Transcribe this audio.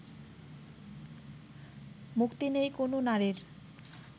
মুক্তি নেই কোনও নারীর